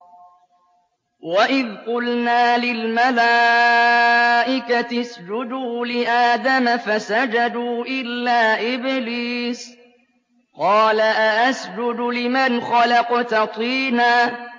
وَإِذْ قُلْنَا لِلْمَلَائِكَةِ اسْجُدُوا لِآدَمَ فَسَجَدُوا إِلَّا إِبْلِيسَ قَالَ أَأَسْجُدُ لِمَنْ خَلَقْتَ طِينًا